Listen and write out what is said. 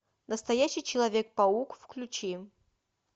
настоящий человек паук включи